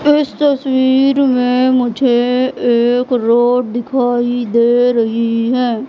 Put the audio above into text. इस तस्वीर में मुझे एक रोड दिखाई दे रही है।